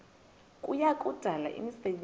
kuya kudala imisebenzi